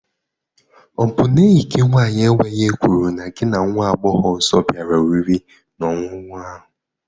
Ọ bụ na enyi gị nwaanyị enweghị ekworo na gị na nwa agbọghọ ọzọ bịara oriri na ọṅụṅụ ahụ?